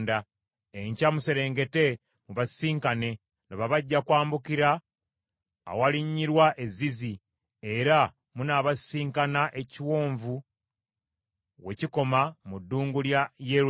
Enkya muserengete mubasisinkane; laba bajja kwambukira awalinnyirwa e Zizi, era munaabasisinkana ekiwonvu we kikoma mu ddungu lya Yerweri.